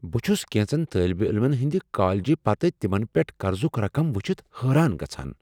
بہٕ چھٗس كینژن طٲلبہ عٔلمن ہٕنٛدِ کالجہ پتہٕ تمن پٮ۪ٹھ قرضٗك رقم وٗچھتھ حٲران گژھان ۔